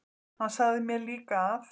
Hann sagði mér líka að